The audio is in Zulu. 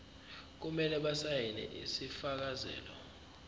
kumele basayine isifakazelo